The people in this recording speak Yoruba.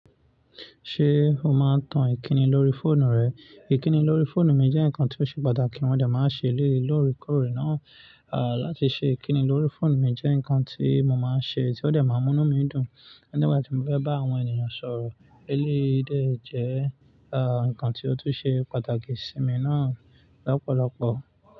Ṣé o máa ń tan ìkíni lórí fóònù rẹ? Ìkíni lórí fóònù mi jẹ́ nǹkan tó ṣe pàtàkì wọ́n dẹ̀ máa ṣe léèlóri kórè náà. Láti ṣe ìkíni lórí fóònù mi jẹ́ nǹkan tí mo máa ń ṣe tí ó dẹ̀ máa ń mú mí dùn. Nígbàtí mo fẹ́ bá àwọn ènìyàn sọ̀rọ̀. Eléyìí dẹ́ jẹ́ nǹkan tí ó tún ṣe pàtàkì sí mi náà lọ́pọ̀lọpọ̀.